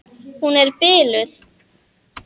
Hún er biluð!